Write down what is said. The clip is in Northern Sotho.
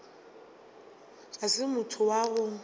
ga se motho wa go